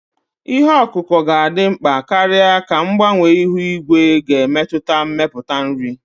Ihe ọkụkụ ga-adị mkpa karịa ka mgbanwe ihu igwe na-emetụta mmepụta nri.